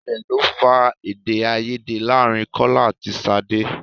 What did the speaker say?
Ilẹ̀ lọ fà Èdèáiyedé láàrin Kọ́lá àti Ṣadé.